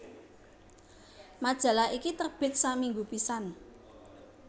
Majalah iki terbit saminggu pisan